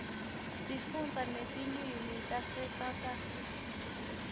sifunda netilwimitase south africa